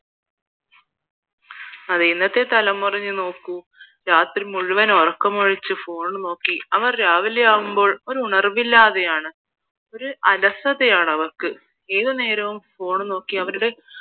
അതേ ഇന്നത്തെ തലമുറയെ നോക്കൂ രാത്രി മുഴുവൻ ഉറക്കമൊഴിച്ച് phone നോക്കി അവർ രാവിലെയാകുമ്പോൾ ഒരുണർവില്ലാതെയാണ് ഒരു അലസതയാണ് അവർക്ക് ഏത് നേരവും phone നോക്കി